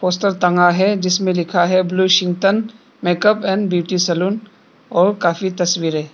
चित्र टंगा है जिसमें लिखा है Blushington makeup and beauty salon और काफी तस्वीरे--